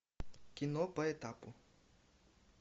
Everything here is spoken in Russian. кино по этапу